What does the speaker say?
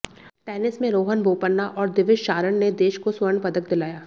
tennis में रोहन बोपन्ना और दिविज शारण ने देश को स्वर्ण पदक दिलाया